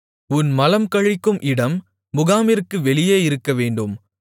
உன் மலம் கழிக்கும் இடம் முகாமிற்கு வெளியே இருக்கவேண்டும்